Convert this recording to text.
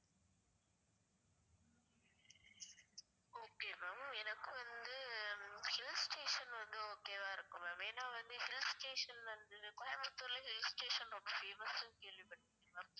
Okay ma'am எனக்கு வந்து hill station வந்து okay வா இருக்கும் ma'am ஏனா வந்து hill station வந்து கோயம்புத்தூர்ல hill station ரொம்ப famous னு கேள்வி பட்ருக்கேன் ma'am